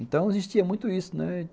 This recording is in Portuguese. Então, existia muito isso, né?